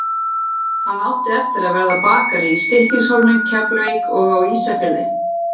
Hann átti eftir að verða bakari í Stykkishólmi, Keflavík og á Ísafirði.